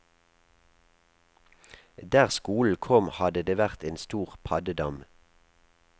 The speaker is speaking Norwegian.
Der skolen kom, hadde det vært en stor paddedam.